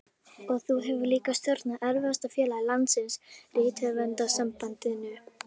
Og þú hefur líka stjórnað erfiðasta félagi landsins, Rithöfundasambandinu.